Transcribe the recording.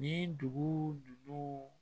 Nin dugu dugu